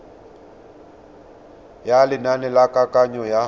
ya lenane la kananyo ya